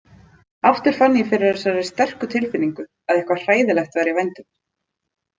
Aftur fann ég fyrir þessari sterku tilfinningu, að eitthvað hræðilegt væri í vændum.